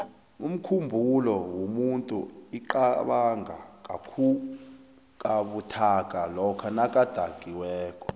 umkhumbulo womuntu iqabanga kabuthaka lokha nakadakiweko